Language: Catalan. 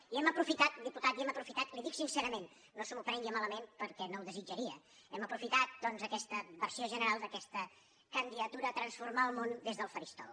i hem aprofitat diputat li ho dic sincerament no se m’ho prengui malament perquè no ho desitjaria hem aprofitat doncs aquesta versió general d’aquesta candidatura a transformar el món des del faristol